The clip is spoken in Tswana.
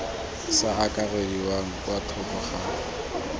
sa akarediwa kwa thoko ga